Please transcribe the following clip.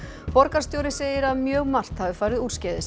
borgarstjóri segir að mjög margt hafi farið úrskeiðis